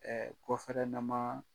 Ɛɛ gɔfɛrɛneman